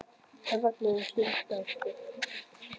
Hann þagnaði um stund og dæsti.